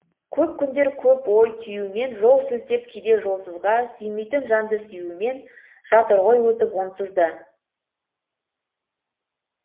көп күндер көп ой түюмен жол сілтеп кейде жолсызға сүймейтін жанды сүюмен жатыр ғой өтіп онсыз да